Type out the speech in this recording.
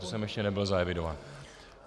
To jsem ještě nebyl zaevidován.